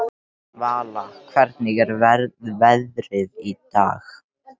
Vala, hvernig er veðrið í dag?